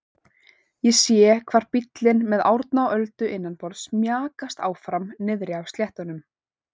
Ég sé hvar bíllinn með Árna og Öldu innanborðs mjakast áfram niðri á sléttunum.